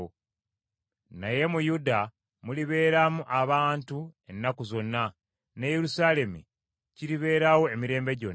Naye mu Yuda mulibeeramu abantu ennaku zonna, ne Yerusaalemi kiribeerawo emirembe gyonna.